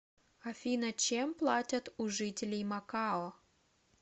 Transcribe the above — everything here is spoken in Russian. афина чем платят у жителей макао